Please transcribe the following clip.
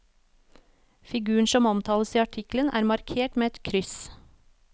Figuren som omtales i artikkelen er markert med et kryss.